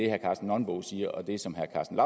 herre karsten nonbo siger og det som herre karsten